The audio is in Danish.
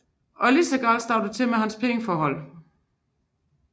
Og lige så galt stod det til med hans pengeforhold